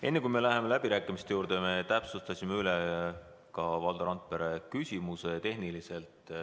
Enne kui me läheme läbirääkimiste juurde, annan teada, et me täpsustasime Valdo Randpere tehnilise probleemi.